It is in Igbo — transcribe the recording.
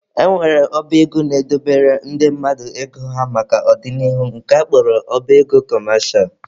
E nwere ọba ego na-edobere ndị mmadụ ego ha maka ọ dị n'ihu nke a kpọrọ ọba ego kọmesha